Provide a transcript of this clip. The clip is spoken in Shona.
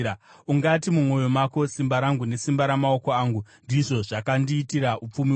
Ungati mumwoyo mako, “Simba rangu nesimba ramaoko angu ndizvo zvakandiitira upfumi uhu.”